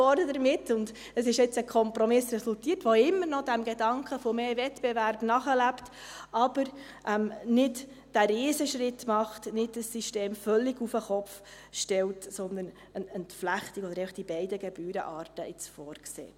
Jetzt hat ein Kompromiss resultiert, der immer noch dem Gedanken nach mehr Wettbewerb nachlebt, aber nicht den Riesenschritt macht, ein System völlig auf den Kopf zu stellen, sondern der eine Entflechtung oder einfach die beiden Gebührenarten vorsieht.